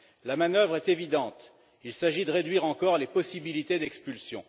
La manœuvre est évidente, il s'agit de réduire encore les possibilités d'expulsion